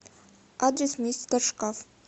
адрес мистер шкаф